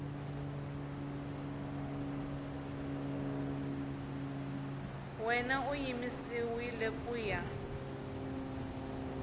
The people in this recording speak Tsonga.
wena yi yimisiwile ku ya